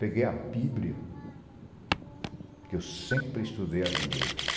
Peguei a Bíblia, porque eu sempre estudei a Bíblia.